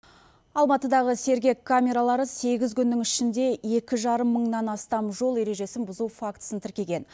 алматыдағы сергек камералары сегіз күннің ішінде екі жарым мыңнан астам жол ережесін бұзу фактісін тіркеген